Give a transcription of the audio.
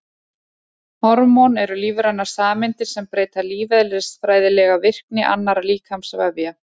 Hormón eru lífrænar sameindir sem breyta lífeðlisfræðilega virkni annarra líkamsvefja.